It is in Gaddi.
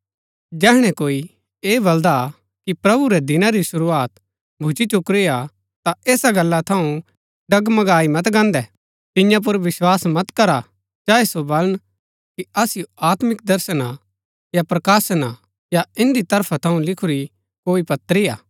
जैहणै कोई ऐह बलदा हा कि प्रभु रै दिना री शुरूआत भुच्‍ची चुकुरी हा ता ऐसा गल्ला थऊँ डगमगाई मत गान्दै तिन्या पुर विस्वास मत करा चाहे सो बलन कि असिओ आत्मिक दर्शन हा या प्रकाशन हा या इन्दी तरफा थऊँ लिखुरी कोई पत्री हा